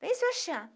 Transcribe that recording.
Vem Sebastiana